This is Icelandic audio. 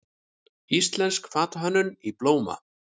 Íslensk fatahönnun í blóma